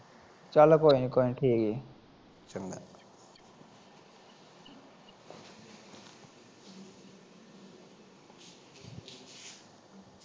ਚੱਲ ਕੋਈ ਨੀ ਕੋਈ ਨੀ ਠੀਕ